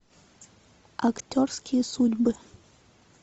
актерские судьбы